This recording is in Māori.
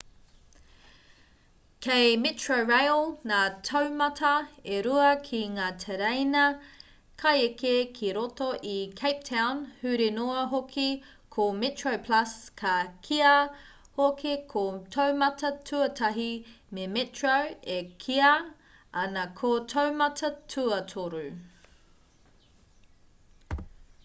kei metrorail ngā taumata e rua ki ngā tereina kaieke ki roto i cape town huri noa hoki: ko metroplus ka kīia hoki ko taumata tuatahi me metro e kīia ana ko taumata tuatoru